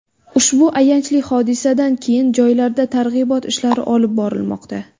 Ushbu ayanchli hodisadan keyin joylarda targ‘ibot ishlari olib borilmoqda.